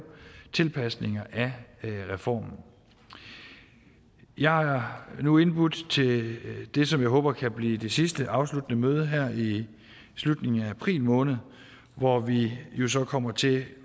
tilpasninger af reformen jeg har nu indbudt til det som jeg håber kan blive det sidste afsluttende møde her i slutningen af april måned hvor vi jo så kommer til